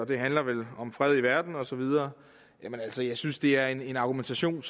det handler vel om fred i verden og så videre jeg synes det er en argumentation